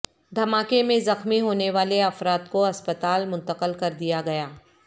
دھماکے میں زخمی ہونے والے افراد کو ہسپتال منتقل کر دیا گیا ہے